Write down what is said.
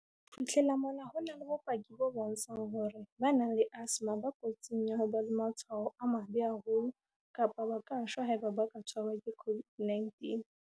"Ho fihlela mona, ho na le bopaki bo bontshang hore ba nang le asthma ba kotsing ya ho ba le matshwao a mabe haholo kapa ba ka shwa haeba ba ka tshwarwa ke COVID-19."